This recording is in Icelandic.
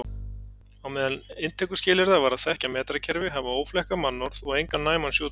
Á meðal inntökuskilyrða var að þekkja metrakerfi, hafa óflekkað mannorð og engan næman sjúkdóm.